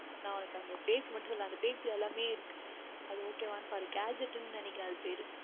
நான் உனக்கு அந்த Page மட்டும் சொல்லுகின்றேன் அந்த Page யில் எல்லாமுமே இருக்கின்றது அது Ok வா என்று பார் Gadget என்று நினைக்கிறேன் அது பெயர்